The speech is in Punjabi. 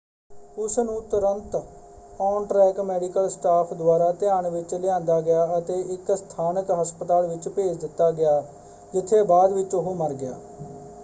ਉਸ ਨੂੰ ਤੁਰੰਤ ਔਨ-ਟ੍ਰੈਕ ਮੈਡੀਕਲ ਸਟਾਫ਼ ਦੁਆਰਾ ਧਿਆਨ ਵਿੱਚ ਲਿਆਂਦਾ ਗਿਆ ਅਤੇ ਇੱਕ ਸਥਾਨਕ ਹਸਪਤਾਲ ਵਿੱਚ ਭੇਜ ਦਿੱਤਾ ਗਿਆ ਜਿੱਥੇ ਬਾਅਦ ਵਿੱਚ ਉਹ ਮਰ ਗਿਆ।